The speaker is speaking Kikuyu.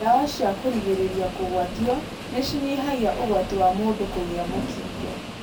Dawa cia kũrigĩrĩria kũgwatio nĩ cinyihagia ũgwati wa mũndu kũgĩa mũkingo.